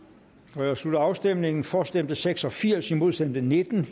jeg slutter afstemningen for stemte seks og firs imod stemte nitten